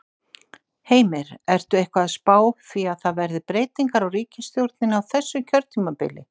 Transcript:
Heimir: Ertu eitthvað að spá því að það verði breytingar á ríkisstjórninni á þessu kjörtímabili?